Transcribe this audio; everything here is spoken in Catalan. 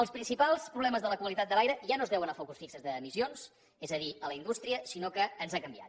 els principals problemes de la qualitat de l’aire ja no es deuen a focus fixos d’emissions és a dir a la indústria sinó que ens ha canviat